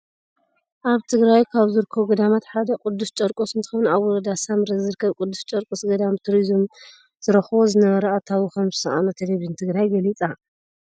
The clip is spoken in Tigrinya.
ኣብ ትግራይ ካብ ዝርከቡ ገዳማት ሓደ ቅዱስ ጨርቆስ እንትከውን፣ ኣብ ወረዳ ሳምረ ዝርከብ ቅዱስ ጨርቆስ ገዳም ብቱሪዝም ዝረክቦ ዝነበረ ኣታዊ ከምዝሳኣኖ ቴሌቪዥን ትግራይ ገሊፃ።